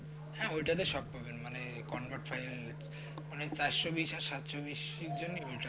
হ্যাঁ ওটাতে সব পাবেন মানে convert file মানে চারশো বিশ সাতশো বিশ এর জন্যই ওইটা